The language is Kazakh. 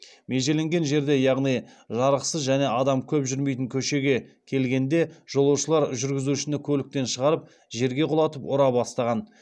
межеленген жерге яғни жарықсыз және адам көп жүрмейтін көшеге келгенде жолаушылар жүргізушіні көліктен шығарып жерге құлатып ұра бастаған